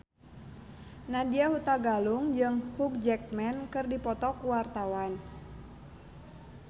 Nadya Hutagalung jeung Hugh Jackman keur dipoto ku wartawan